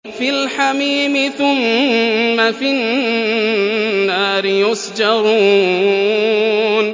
فِي الْحَمِيمِ ثُمَّ فِي النَّارِ يُسْجَرُونَ